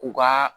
U ka